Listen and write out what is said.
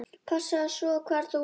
Passaðu svo hvar þú lemur.